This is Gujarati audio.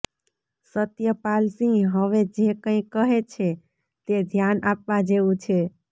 સત્યપાલ સિંહ હવે જે કંઈ કહે છે તે ધ્યાન આપવા જેવું છે